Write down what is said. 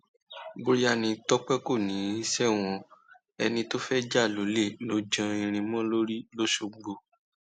bóyá ni tọpẹ kò ní í ṣẹwọn o ẹni tó fẹẹ jà lọlẹ ló jan irin mọ lórí lọsgbọn